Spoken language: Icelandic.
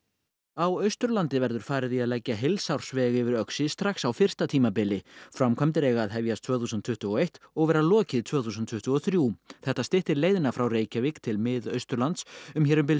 á Austurlandi verður farið í að leggja heilsársveg yfir Öxi strax á fyrsta tímabili framkvæmdir eiga að hefjast tvö þúsund tuttugu og eitt og vera lokið tvö þúsund tuttugu og þrjú þetta styttir leiðina frá Reykjavík til Mið Austurlands um hér um bil